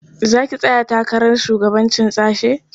Za ki tsaya takarar shugabancin sashe?